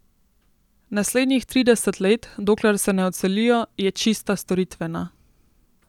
Naslednjih trideset let, dokler se ne odselijo, je čista storitvena.